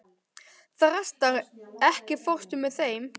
Þrastar, ekki fórstu með þeim?